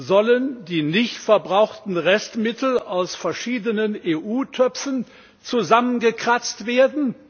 Sollen die nicht verbrauchten Restmittel aus verschiedenen EU Töpfen zusammengekratzt werden?